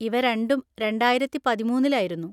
ഇവ രണ്ടും രണ്ടായിരത്തി പതിമൂന്നിലായിരുന്നു.